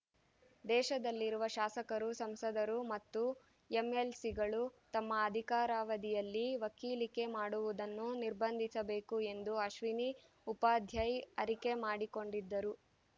ದೇಶದಲ್ಲಿರುವ ಶಾಸಕರು ಸಂಸದರು ಮತ್ತು ಎಂಎಲ್‌ಸಿಗಳು ತಮ್ಮ ಅಧಿಕಾರಾವಧಿಯಲ್ಲಿ ವಕೀಲಿಕೆ ಮಾಡುವುದನ್ನು ನಿರ್ಬಂಧಿಸಬೇಕು ಎಂದು ಅಶ್ವಿನಿ ಉಪಾಧ್ಯಾಯ್‌ ಅರಿಕೆ ಮಾಡಿಕೊಂಡಿದ್ದರು